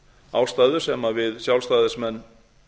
ástæðu sem við sjálfstæðismenn